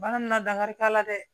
Bana min na dankari t'a la dɛ